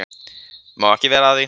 Má ekki vera að því.